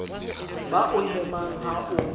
ba o hemang ha o